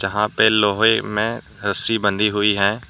यहां पे लोहे में रस्सी बंधी हुई है।